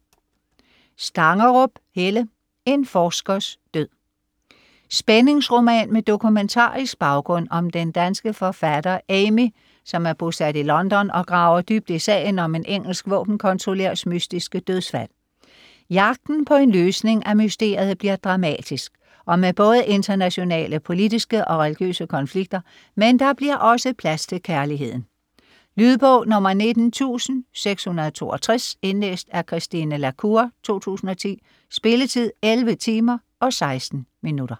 Stangerup, Helle: En forskers død Spændingsroman med dokumentarisk baggrund om den danske forfatter Amy, som er bosat i London og graver dybt i sagen om en engelsk våbenkontrollørs mystiske dødsfald. Jagten på en løsning af mysteriet bliver dramatisk og med både internationale politiske og religiøse konflikter, men der bliver også plads til kærligheden. Lydbog 19662 Indlæst af Christine La Cour, 2010. Spilletid: 11 timer, 16 minutter.